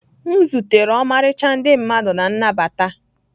M zutere ọmarịcha ndị mmadụ na nnabata